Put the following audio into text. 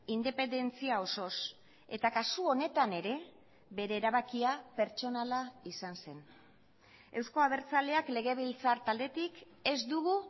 independentzia osoz eta kasu honetan ere bere erabakia pertsonala izan zen euzko abertzaleak legebiltzar taldetik ez dugu